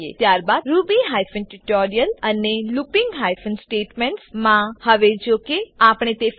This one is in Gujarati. ત્યારબાદ Ruby hyphen tutorial Ruby hyphen tutorial અને looping hyphen statements looping hyphen statements માં